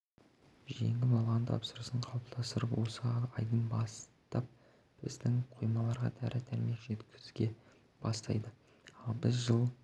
жеңіп алған тапсырысын қалыптастырып осы айдан бастап біздің қоймаларға дәрі-дәрмек жеткізе бастайды ал біз жыл